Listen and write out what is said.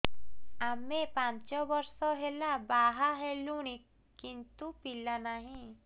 ଆମେ ପାଞ୍ଚ ବର୍ଷ ହେଲା ବାହା ହେଲୁଣି କିନ୍ତୁ ପିଲା ନାହିଁ